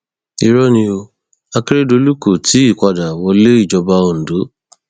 irọ ni o akérèdọlù kó tì í padà wáléìjọba ondo